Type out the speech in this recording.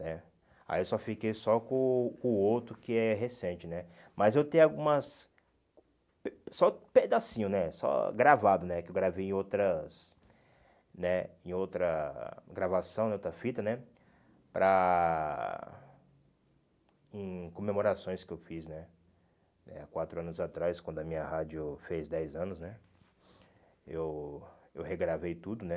né, aí eu só fiquei só com o com o outro que é recente, né, mas eu tenho algumas pe, só pedacinho, né, só gravado, né, que eu gravei em outras, né, em outra gravação, em outra fita, né, para, em comemorações que eu fiz, né, há quatro anos atrás, quando a minha rádio fez dez anos, né, eu eu regravei tudo, né,